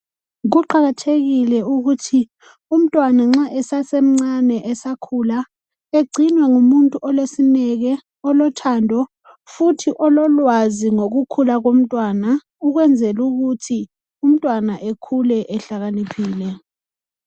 Kuqakathekile ukuthi umntwana nxa esesemncane esakhula egcinwe ngumuntu olesineke olothando futhi ololwazi ngokukhula komntwana ukwenzela ukuthi umntwana ekhule ehlakaniphile.